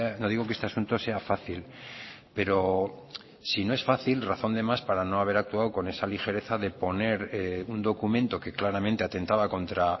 no digo que este asunto sea fácil pero si no es fácil razón de más para no haber actuado con esa ligereza de poner un documento que claramente atentaba contra